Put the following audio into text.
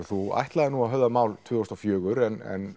þú ætlaðir að höfða mál tvö þúsund og fjögur en